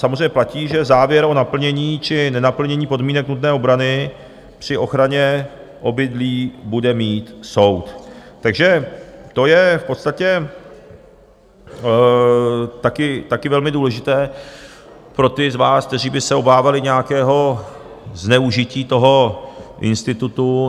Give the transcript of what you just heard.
Samozřejmě platí, že závěr o naplnění či nenaplnění podmínek nutné obrany při ochraně obydlí bude mít soud, takže to je v podstatě také velmi důležité pro ty z vás, kteří by se obávali nějakého zneužití toho institutu.